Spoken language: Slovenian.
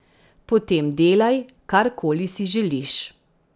Potem delaj, kar koli si želiš.